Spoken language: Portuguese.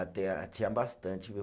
Ah tinha, tinha bastante, viu?